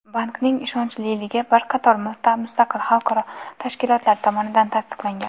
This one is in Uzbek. Bankning ishonchliligi bir qator mustaqil xalqaro tashkilotlar tomonidan tasdiqlangan.